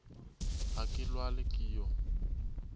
ga ke lwale ke yo